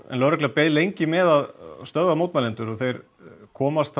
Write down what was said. en lögregla beið lengi með að stöðva mótmælendur þeir komast